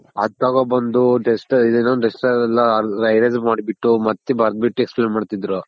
ಆದ ತಗೊನ್ ಬಂದ್ duster ಏನು duster ಅಲ್ಲ Erase ಮಾಡ್ಬಿಟ್ಟು ಮತ್ ಬರ್ದ್ ಬಿಟ್ಟ್ explain ಮಾಡ್ ತಿದ್ರು.